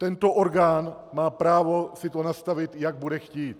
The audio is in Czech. Tento orgán má právo si to nastavit, jak bude chtít.